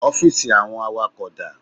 Ọ́fíìsì àwọn awakọ̀ dá?